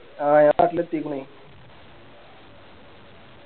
ആ നാട്ടിലെത്തിക്ക്ണ്